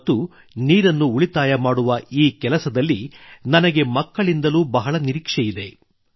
ಮತ್ತು ನೀರನ್ನು ಉಳಿತಾಯ ಮಾಡುವ ಈ ಕೆಲಸದಲ್ಲಿ ನನಗೆ ಮಕ್ಕಳಿಂದಲೂ ಬಹಳ ನಿರೀಕ್ಷೆಯಿದೆ